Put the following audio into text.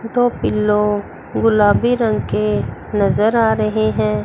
दो पिलो गुलाबी रंग के नजर आ रहे हैं।